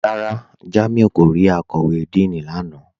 Rárá, Jàmíù kò rí àkọ̀wé Díìní lánà